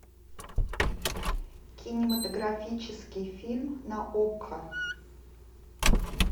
кинематографический фильм на окко